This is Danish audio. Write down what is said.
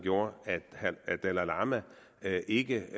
gjorde at dalai lama ikke